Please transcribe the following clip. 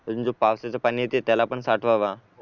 अजून जे पावसाचे पाणी येते त्याला पण साठवावं